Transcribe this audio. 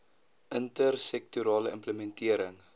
inter sektorale implementering